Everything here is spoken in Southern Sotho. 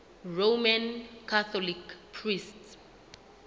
roman catholic priests